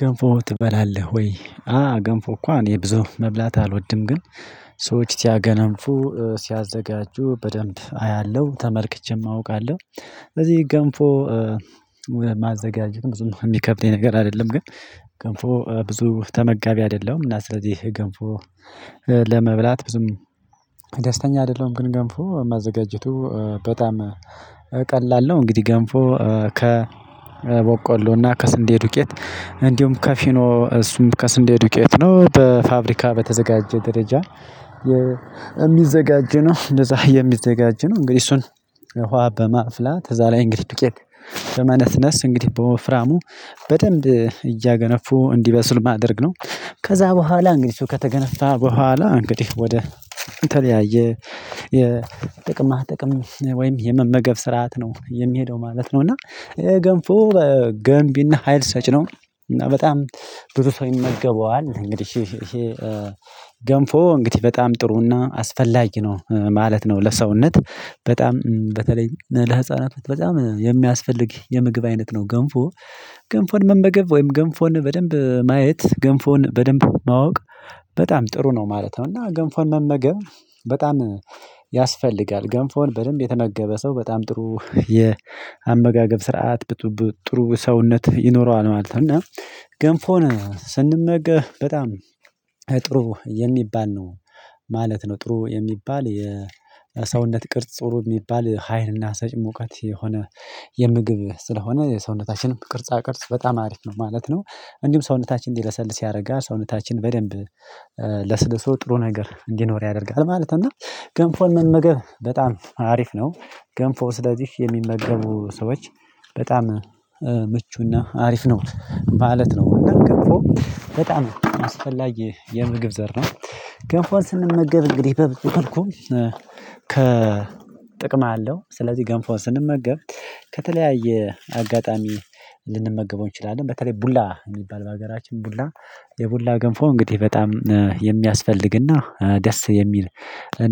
ገንፎ ትበላለህ ወይ? አወ ገንፎ እኮ እኔ ብዙ መብላት አልወድም ግን ሰዎች ሲያገነፉ ሲያዘጋጁ በደንብ አያለሁ ተመልክቼም አውቃለሁ እዚህ ገንፎ። ማዘጋጀት ብዙም እሚከብድ ነገር አይደለም። ግን ገንፎ ብዙ ተመጋቢ አደለሁም እና ስለዚህ ገንፎ ለመብላት ብዙም ደስተኛ አደለሁም ግን ገንፎ ማዘጋጀቱ በጣም ቀላል ነው። እንግዲህ ገንፎ ከቦቆሎና ከስንዴ ዱቄት እንዲሁም ከፊኖ እሱም ከስንዴ ዱቄት ነው በፋብሪካ በተዘጋጀ ደረጃ እሚዘጋጅ ነው። ነው እንግዲህ እሱን ውሃ በማፍላት ከዛ ላይ እንግዲህ ዱቄት በመነስነስ እንግዲህ በወፍራሙ በደንብ እያገነፉ እንዲበሱል ማድረግ ነው። ከዛ በኋላ እንግዲህ እሱ ከተገነፋ በኋላ እንግዲህ ወደ የተለያየ የጥቅም ጥቅም ወይም የመመገብ ስርዓት ነው የሚሄደው ማለት ነው። እና ገንፎ ገንቢና ሀይል ሰጭ ነው። እና በጣም ብዙ ሰው ይመገበዋል እንግዲህ ይሄ ገንፎ እንግዲህ በጣም ጥሩና አስፈላጊ ነው ማለት ነው። ለሰውነት በጣም በተለይ ለህፃናት በጣም የሚያስፈልግ የምግብ አይነት ነው። ገንፎ ገንፎን መመገብ ወይም ገንፎን በደንብ ማየት ገንፎን በደንብ ማወቅ በጣም ጥሩ ነው ማለት ነው። እና ገንፎን መመገብ በጣም ያስፈልጋል ገንፎን በደንብ የተመገበ ሰው በጣም ጥሩ የአመጋገብ ስርዓት ጥሩ ሰውነት ይኖረዋል ማለት ነው። እና ገንፎን ስንመገብ በጣም ጥሩ የሚባል ነው ማለት ነው ጥሩ የሚባል የሰውነት ቅርጽ ጥሩ ሚባል ሀይልና ሰጪ ሙቀት የሆነ የምግብ ስለሆነ የሰውነታችንም ቅርጻ ቅርጽ በጣም አሪፍ ነው ማለት ነው። እንዲሁም ሰውነታችን እንዲለሰልስ ያደረጋ ሰውነታችን በደንብ ለስግን ሰው ጥሩ ነገር እንዲኖር ያደርጋል ማለት ነው። እና ገንፎን መመገብ በጣም አሪፍ ነው። ገንፎ ስለዚህ የሚመገቡ ሰዎች በጣም ምቹና አሪፍ ነው ማለት ነው። ገንፎ በጣም አስፈላጊ የምግብ ዘርፍ ነው። ገንፎን ስንመገብ እንግዲህ በብዙ መልኩም ከ ጥቅም አለው። ስለዚህ ገንፎን ስንመገብ ከተለያየ አጋጣሚ ልንመገበው እንችላለን በተለይ ቡላ ሚባል በሀገራችን ቡላ የቡላ ገንፎ እንግዲህ በጣም የሚያስፈልግና ደስ የሚል